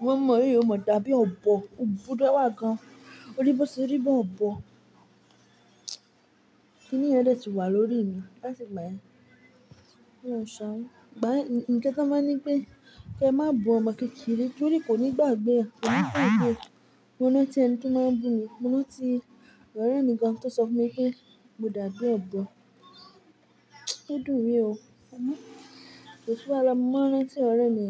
Iwọ ọmọ̀ ọ́ yìí omo dàbí ọ̀bọ̀, ò búra wá gan. O rí bó ṣe rí bí ọ̀bọ̀." Kíni yẹ n dẹti wà lórí mi láti ìgbà ẹ. Ó ń ṣa wá. Ìgbà ẹ, ǹkan tí wọ́n máa ní pé kí ẹ má bu ọmọ kékeré torí kò ní gbàgbé ẹ, kò ní fẹ́ ìgbé. Mo rán tí ẹni tó máa bú mi, mo ran tí ọ̀rẹ́ mi gan tó sọ fún mi pé mo dàbí ọ̀bọ̀. Ó dùn mí o, ọmọ! Kò sí wàá la, mo máa n rán tí ọ̀rẹ́ mi.